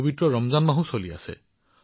পবিত্ৰ ৰমজান মাহো চলি আছে